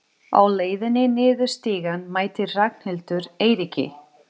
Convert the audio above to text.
Á leiðinni niður stigann mætti Ragnhildur Eiríki.